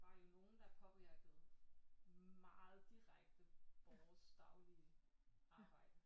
Var jo nogen der påvirkede meget direkte vores daglige arbejde